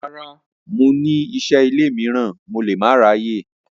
Rara, Mo n ni iṣẹ ile miiran Mo le ma ṣe aye.